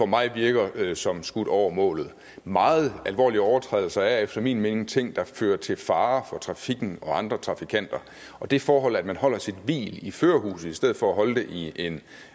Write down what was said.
mig virker som skudt over målet meget alvorlige overtrædelser er efter min mening ting der fører til fare for trafikken og andre trafikanter og det forhold at man holder sit hvil i førerhuset i stedet for at holde det i en